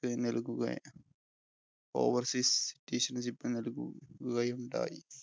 overseas നല്‍കുകയും ഉണ്ടായി.